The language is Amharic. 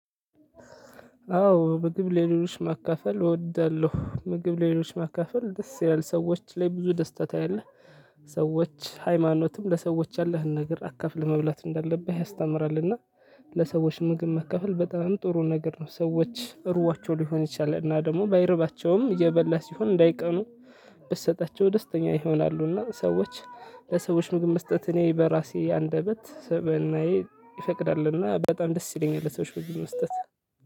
አዎ ምግብ ለሌሎች ማካፈል እወዳለሁ ምግብ ለሌሎች ማካፈል ደስ ይላል ሰዎች ላይ ብዙ ደስታ ታያለህ። ሰዎች ሃይማኖትም ለሰዎች ያለህን ነገር አካፍለህ መብላት እንዳለብህ ያስተምራልና። ለሰዎች ምግብ ማካፈል በጣም ጥሩ ነገር ነው። ሰዎች እርቧቸው ሊሆን ይችላል እና ደግሞ ባይረባቸውም እየበላ ሲሆን እንዳይቀኑ። ብትሰጣቸው ደስተኛ ይሆናሉና ሰዎች። ለሰዎች ምግብ መስጠት እኔ በራሴ አንደበት ስብዕናዬ ይፈቅዳልና በጣም ደስ ይለኛል። ለሰዎች ምግብ መስጠት